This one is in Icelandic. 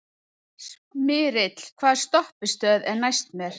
Smyrill, hvaða stoppistöð er næst mér?